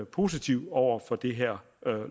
positiv over for det her